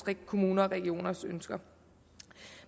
kommuners og regioners ønsker